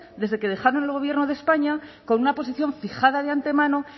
desde que dejaron el gobierno de españa con una posición fijada de antemano